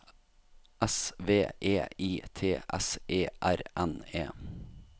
S V E I T S E R N E